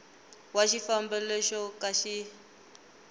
wa xifambo lexo ka xi